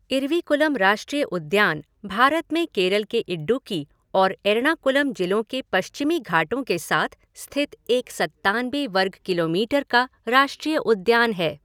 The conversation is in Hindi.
इरविकुलम राष्ट्रीय उद्यान भारत में केरल के इडुक्की और एर्णाकुलम जिलों के पश्चिमी घाटों के साथ स्थित एक सत्तानबे वर्ग किलोमीटर का राष्ट्रीय उद्यान है।